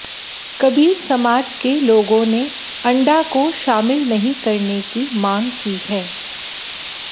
कबीर समाज के लोगों ने अंडा को शामिल नहीं करने की मांग की है